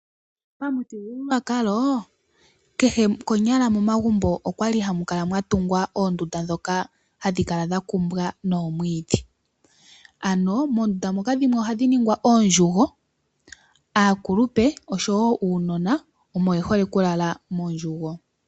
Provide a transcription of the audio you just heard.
Pamuthigululwakalo kehe konyala momagumbo okwali hamu kala mwatungwa oondunda dhoka hadhi kala dhakumbwa noomwiidhi. Ano moondunda moka ohadhi ningwa oondjugo aakulupe osho woo uunona omo yehole okulala moondjugo.